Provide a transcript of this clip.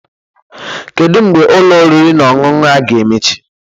Kedu mgbe Ụlọ oriri na ọṅụṅụ a ga-emechi?